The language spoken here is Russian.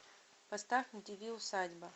поставь на тв усадьба